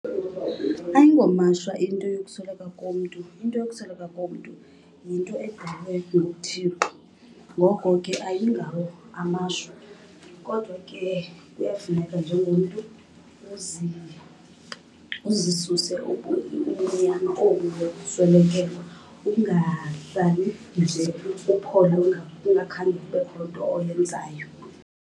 Ayingomashwa into yokusweleka komntu. Into yokusweleka komntu yinto edalwe nguThixo ngoko ke ayingawo amashwa. Kodwa ke kuyafuneka njengomntu uzisuse ubumnyama obu bokuswelekelwa. Ungahlali nje uphole kungakhange kubekho nto oyenzayo.